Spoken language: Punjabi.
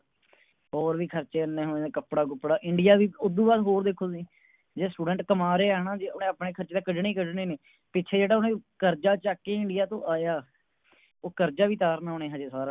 ਹੋਰ ਵੀ ਖਰਚੇ ਇੰਨੇ ਹੋਏ ਨੇ ਕੱਪੜਾ ਕੁਪੜਾ India ਵੀ ਉਦੂ ਬਾਦ ਹੋਰ ਦੇਖੋ ਤੁਸੀਂ ਜੇ Student ਕਮਾ ਰਿਹਾ ਨਾ ਓਹਨੇ ਆਪਣੇ ਖਰਚੇ ਤਾ ਕੱਢਣੇ ਹੀ ਕੱਢਣੇ ਨੇ ਪਿੱਛੇ ਜਿਹੜਾ ਉਹਨੇ ਕਰਜ਼ਾ ਚੱਕ ਕੇ India ਤੋਂ ਆਇਆ ਓ ਕਰਜਾ ਵੀ ਉਤਾਰਨਾ ਓਹਨੇ ਹਜੇ ਸਾਰਾ।